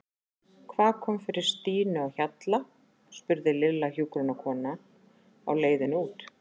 Hvað kom fyrir Stínu á Hjalla? spurði Lilla hjúkrunarkonuna á leiðinni út.